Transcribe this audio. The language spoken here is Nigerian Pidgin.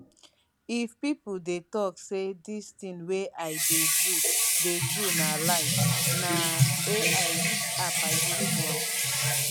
if pipo dey tok say dis tin wey i dey do dey do na lie na ai which app i use do am